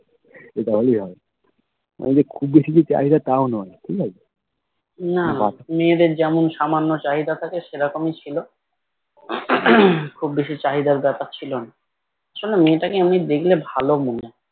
শোনো মেয়েটাকে এমনি দেখলে ভালো মনে হয়